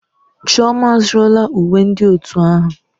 Chioma azụrụla uwe ndị otu ahụ.